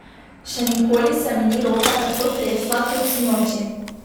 Še nikoli se mi ni roka tako tresla kot sinoči.